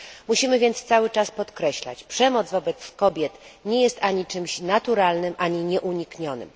Musimy więc cały czas podkreślać przemoc wobec kobiet nie jest ani czymś naturalnym, ani nieuniknionym.